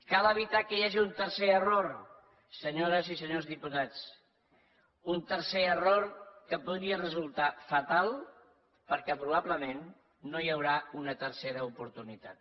cal evitar que hi hagi un tercer error senyores i senyors diputats un tercer error que podria resultar fatal perquè probablement no hi haurà una tercera oportunitat